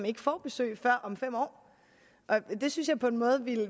ikke får besøg før om fem år det synes jeg på en måde